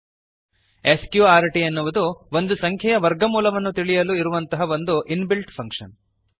ಸ್ಕ್ರ್ಟ್ S Q R T ಎನ್ನುವುದು ಒಂದು ಸಂಖ್ಯೆಯ ವರ್ಗಮೂಲವನ್ನು ತಿಳಿಯಲು ಇರುವಂತಹ ಒಂದು ಇನ್ ಬಿಲ್ಟ್ ಫಂಕ್ಷನ್